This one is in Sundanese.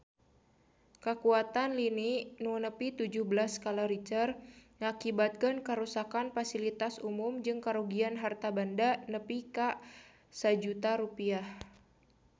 Kakuatan lini nu nepi tujuh belas skala Richter ngakibatkeun karuksakan pasilitas umum jeung karugian harta banda nepi ka 1 juta rupiah